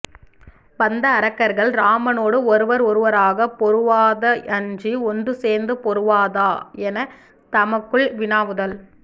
வந்த அரக்கர்கள் இராமனொடு ஒருவர் ஒருவராகப் பொருவதா அன்றி ஒன்று சேர்ந்து பொருவதா எனத் தமக்குள் வினாவுதல்